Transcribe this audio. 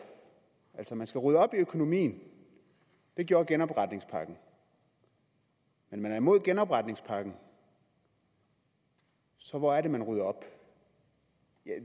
altså man skal rydde op i økonomien det gjorde genopretningspakken men man er imod genopretningspakken så hvor er det man rydder op